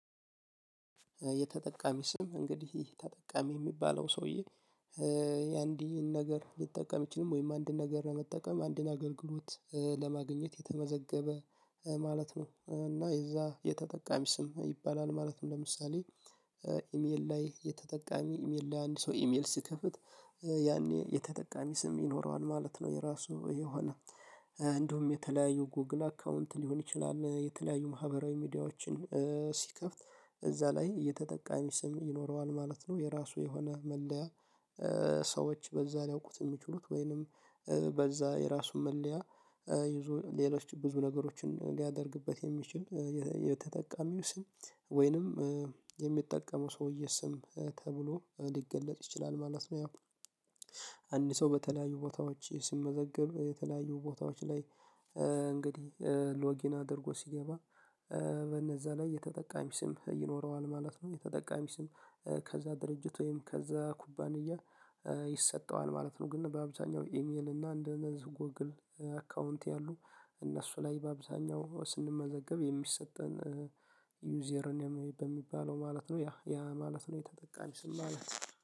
የተጠቃሚ ስም እንግዲህ ተጠቃሚ የሚባለው ሰውዬ የአንዲት ነገር ሊጠቀም ይችልም ወይም አንድን ነገር ለመጠቀም አንድን አገልግሎት ለማግኘት የተመዘገበ ማለት ነው እና የዛ የተጠቃሚ ስም ይባላል ማለት ነው። ለምሳሌ ኢሜል ላይ የተጠቃሚ ኢሜል ላይ አንድ ሰው ኢሜል ሲከፍት ያኔ የተጠቃሚ ስም ይኖረዋል ማለት ነው። የራሱ ይሄ ሆነ እንደውም የተለያዩ ጎግል አካውንት ሊሆን ይችላል የተለያዩ ማህበራዊ ሚዲያዎችን ሲከፍት እዛ ላይ የተጠቃሚ ስም ይኖረዋል ማለት ነው። የራሱ የሆነ መለያ ሰዎች በዛ ሊያውቁት የሚችሉት ወይንም በዛ የራሱን መለያ ይዞ ሌሎች ብዙ ነገሮችን ሊያደርግበት የሚችል የተጠቃሚው ስም ወይንም የሚጠቀመው ሰውዬ ስም ተብሎ ሊገለጽ ይችላል ማለት ነው። ያው አንድ ሰው በተለያዩ ቦታዎች ሲመዘገብ የተለያዩ ቦታዎች ላይ እንግዲህ ሎጊን አድርጎ ሲገባ በነዛ ላይ የተጠቃሚ ስም ይኖረዋል ማለት ነው። የተጠቃሚ ስም ከዛ ድርጅት ወይም ከዛ ኩባንያ ይሰጠዋል ማለት ነው። ግን በአብዛኛው ኢሜል እና እንደነዚህ ጎግል አካውንት ያሉ እነሱ ላይ በአብዛኛው ስንመዘገብ የሚሰጠን ዩዘር ኔም በሚባለው ማለት ነው ያ ያ ማለት ነው የተጠቃሚ ስም ማለት